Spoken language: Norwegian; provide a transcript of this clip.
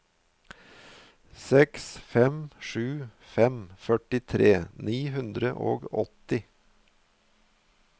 seks fem sju fem førtitre ni hundre og åtti